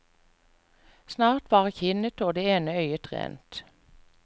Snart var kinnet og det ene øyet rent.